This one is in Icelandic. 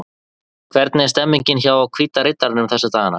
Hvernig er stemningin hjá Hvíta riddaranum þessa dagana?